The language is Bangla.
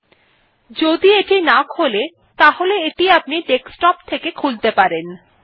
এটি যদি না খোলে তাহলে এটি আপনি ডেস্কটপ থেকে খুলতে পারেন